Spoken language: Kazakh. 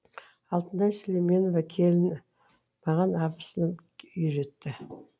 алтынай сүлейменова келіні маған абысыным үйретті